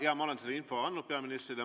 Jaa, ma olen selle info andnud peaministrile.